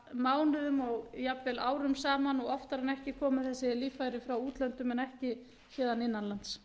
mánuðum og jafnvel árum saman og oftar en ekki koma þessi líffæri frá útlöndum en ekki héðan innan lands